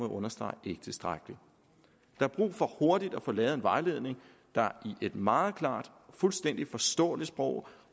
understrege ikke tilstrækkeligt der er brug for hurtigt at få lavet en vejledning der i et meget klart og fuldstændig forståeligt sprog